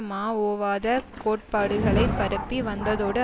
மாஓவாத கோட்பாடுகளை பரப்பி வந்ததோடு